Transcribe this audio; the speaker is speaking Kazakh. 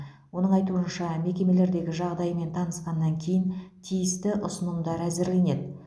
оның айтуынша мекемелердегі жағдаймен танысқаннан кейін тиісті ұсынымдар әзірленеді